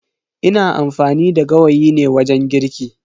Ina amfani da gawayi ne wajen girki.